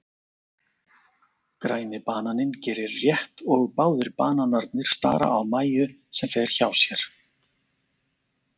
Græni bananinn gerir rétt og báðir bananarnir stara á Mæju sem fer hjá sér.